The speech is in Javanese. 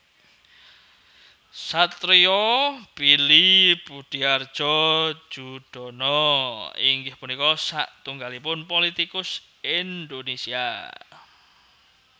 Satrio Billy Budihardjo Joedono inggih punika satunggalipun politikus Indonésia